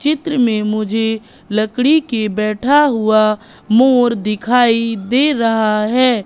चित्र में मुझे लकड़ी के बैठा हुआ मोर दिखाई दे रहा है।